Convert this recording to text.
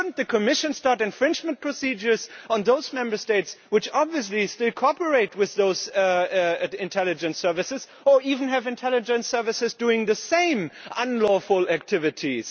Should not the Commission start infringement procedures against those Member States which obviously still cooperate with those intelligence services, or even have intelligence services doing the same unlawful activities?